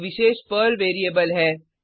एक विशेष Perl variable है